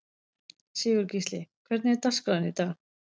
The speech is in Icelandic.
Sigurgísli, hvernig er dagskráin í dag?